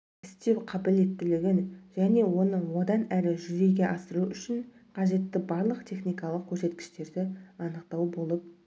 істеу қабілеттілігін және оны одан әрі жүзеге асыру үшін қажетті барлық техникалық көрсеткіштерді анықтау болып